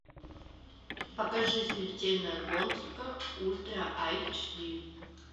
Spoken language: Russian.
покажи смертельная гонка ультра айч ди